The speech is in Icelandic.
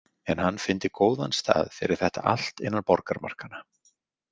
En hann fyndi góðan stað fyrir þetta allt innan borgarmarkanna.